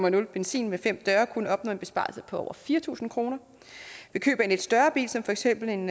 en benzin med fem døre kunne opnå en besparelse på over fire tusind kroner ved køb af en lidt større bil som for eksempel en